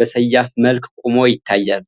በሰያፍ መልክ ቆሞ ይታያል።